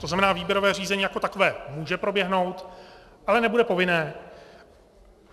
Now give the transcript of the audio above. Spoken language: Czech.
To znamená, výběrové řízení jako takové může proběhnout, ale nebude povinné.